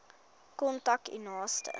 kontak u naaste